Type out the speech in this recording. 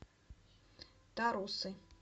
тарусы